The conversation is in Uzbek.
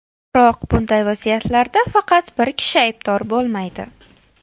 Biroq bunday vaziyatlarda faqat bir kishi aybdor bo‘lmaydi.